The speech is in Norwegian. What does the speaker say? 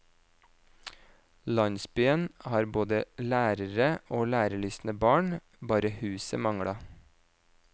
Landsbyen har både lærere og lærelystne barn, bare huset manglet.